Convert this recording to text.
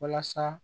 Walasa